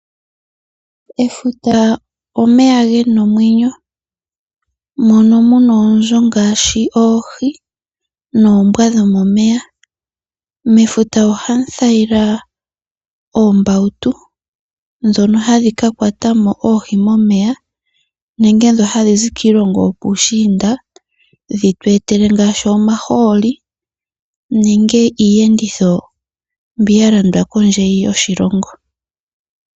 Efuta omeya gena omwenyo mono muna oonzo ngaashi oohi, noombwa dhomomeya. Mefuta ohamu kala oombautu ndhono hadhi kakwatamo oohi momeya, nenge ndhono hadhizi kiilongo yokuushiinda dhitu etele ngaashi omahooli nenge iiyenditho mbi yalandwa kondje yoshilongo.